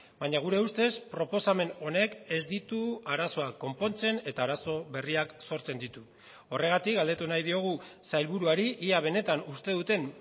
baina gure ustez proposamen honek ez ditu arazoak konpontzen eta arazo berriak sortzen ditu horregatik galdetu nahi diogu sailburuari ia benetan uste duten